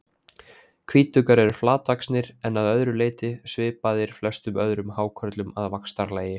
Hvítuggar eru flatvaxnir en að öðru leyti svipaðir flestum öðrum hákörlum að vaxtarlagi.